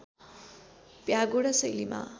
pagoda शैलीमा